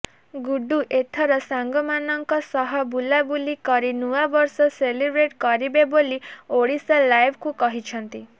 ଗୁଡୁ ଏଥର ସାଙ୍ଗମାନଙ୍କ ସହ ବୁଲାବୁଲି କରି ନୂଆବର୍ଷ ସେଲିବ୍ରେଟ କରିବେ ବୋଲି ଓଡ଼ିଶାଲାଇଭ୍କୁ କହିଛନ୍ତି